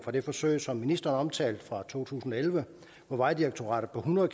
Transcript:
af det forsøg som ministeren omtalte fra to tusind og elleve hvor vejdirektoratet på hundrede